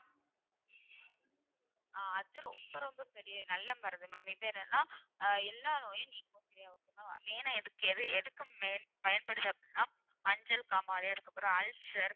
ஆஹ் அது ரொம்ப ரொம்ப பெரிய நல்ல மருந்து ma'am இது என்னன்னா ஆஹ் எல்லா நோயும் நீக்கும் main ஆ எதுக்கு எது main பயன்படுது அப்படின்னா மஞ்சள் காமாலை அதுக்கப்புறம் ulcer